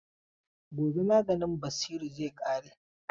Gobe maganin Basiru zai ƙare.